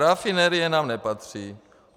Rafinerie nám nepatří.